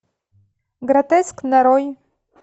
гротеск нарой